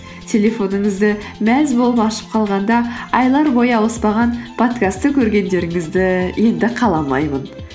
телефоныңызды мәз болып ашып қалғанда айлар бойы ауыспаған подкастты көргендеріңізді енді қаламаймын